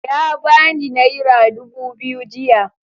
Ya bani naira dubu biyu jiya.